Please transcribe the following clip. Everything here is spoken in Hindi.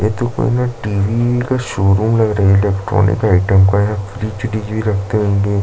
ए तो कोनो टी. वी. का शोरूम लग रहा है इलेक्ट्रॉनिक आइटम का है फ्रिज व्रिज भी रखते होंगे इन लोग--